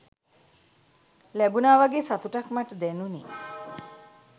ලැබුනා වගේ සතුටක් මට දැනුනේ.